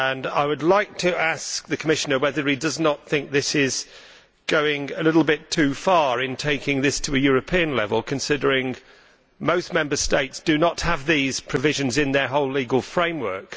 I would like to ask the Commissioner whether he does not think it is going a little bit too far to take this to European level, considering that most Member States do not have these provisions in their whole legal framework.